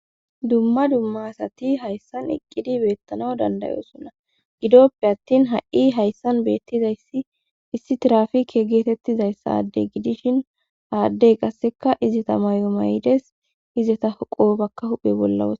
dumma dumma asati hayssan iqqidi beettana dandayosunna gidoppe attin ha7i hayssan beettizayssi issi tirafike geetettizayssaddey gidishin aaddey qasseka izeta mayo maydes izeta qobakka huphe bolla wos